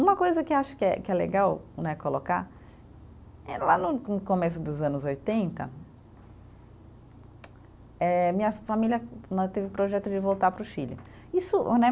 Uma coisa que eu acho que é, que é legal né, colocar, é lá no no começo dos anos oitenta, eh minha família né, teve o projeto de voltar para o Chile. Isso né